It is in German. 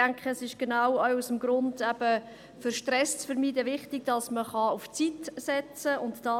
Ich denke, sie sind genau auch deshalb wichtig, um auf Zeit setzen zu können, um Stress zu vermeiden.